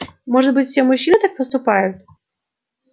может быть все мужчины так поступают